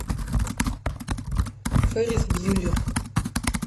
феррис бьюллер